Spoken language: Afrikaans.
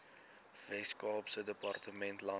weskaapse departement landbou